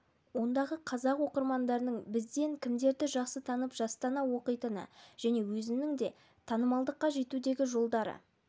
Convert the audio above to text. ондағы қазақ оқырмандарының бізден кімдерді жақсы танып жастана оқитыны және өзінің де танымалдыққа жетудегі жолдары